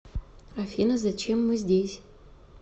афина зачем мы здесь